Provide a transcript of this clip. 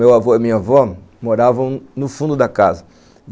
Meu avô e minha avó moravam no fundo da casa.